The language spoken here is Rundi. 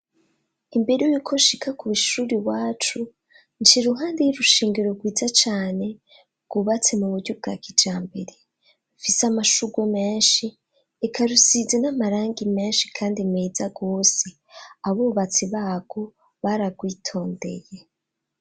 Imbere y'uko nshika kw'ishuri iwacu nc’iruhande y'urushengero rwiza cane, rwubatse mu buryo bwa kijambere. Rufise amashugwe menshi, eka rusize n'amarangi menshi kandi meza gose. Abubatsi barwo baragwitondeye.